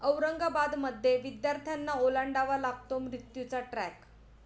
औरंगाबादमध्ये विद्यार्थ्यांना ओलांडावा लागतो मृत्यूचा ट्रॅक